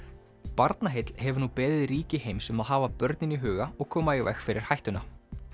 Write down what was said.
Barnaheill hefur nú beðið ríki heims um að hafa börnin í huga og koma í veg fyrir hættuna